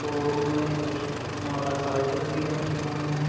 टोर room में कुछ motorcycle भी रखी हुईं हैं।